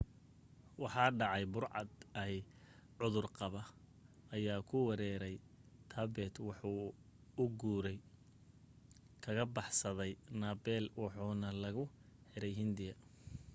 waxa dhacay burcad eey cudur qaba ayaa ku weeraray tibet waxa uu guur kaga baxsaday nepal waxaana lagu xiray hindiya